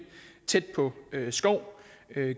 tæt på skov